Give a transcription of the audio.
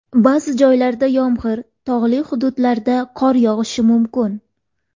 Ba’zi joylarda yomg‘ir, tog‘li hududlarda qor yog‘ishi mumkin.